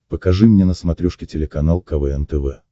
покажи мне на смотрешке телеканал квн тв